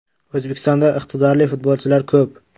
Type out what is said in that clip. O‘zbekistonda iqtidorli futbolchilar ko‘p.